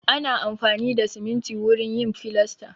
Ana amfani da siminti wurin yin filasta.